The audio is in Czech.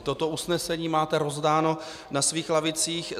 I toto usnesení máte rozdané na svých lavicích.